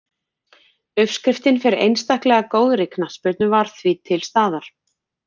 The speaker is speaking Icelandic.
Uppskriftin fyrir einstaklega góðri knattspyrnu var því til staðar.